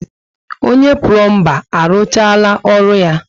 Onye pulomba arụchaala orụ ya?